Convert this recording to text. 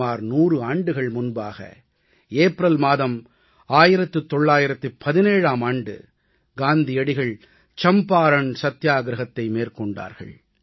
சுமார் 100 ஆண்டுகள் முன்பாக ஏப்ரல் மாதம் 1917ஆம் ஆண்டு காந்தியடிகள் சம்பாரண் சத்தியாகிரஹத்தை மேற்கொண்டார்கள்